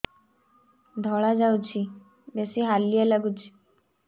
ଧଳା ଯାଉଛି ବେଶି ହାଲିଆ ଲାଗୁଚି